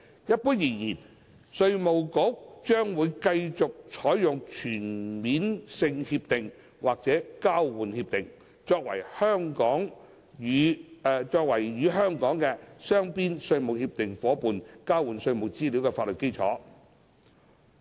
一般而言，稅務局將會繼續採用全面性協定或交換協定，作為與香港的雙邊稅務協定夥伴交換稅務資料的法律基礎。